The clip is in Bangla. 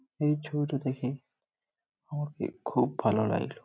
এই ছবিটো দেখে আমাকে খুব ভালো লাগলো।